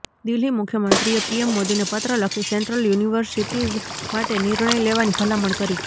દિલ્હી મુખ્યમંત્રીએ પીએમ મોદીને પત્ર લખી સેન્ટ્રલ યુનિવર્સિટીજ માટે નિર્ણય લેવાની ભલામણ કરી